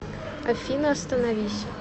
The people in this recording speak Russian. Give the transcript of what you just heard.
афина остановись